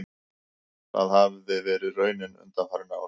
Það hafi verið raunin undanfarin ár